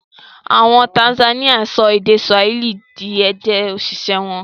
Àwọn Tanzanian sọ èdè Swahili di èdè-òṣìṣẹ́ wọn.